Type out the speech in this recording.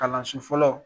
Kalanso fɔlɔ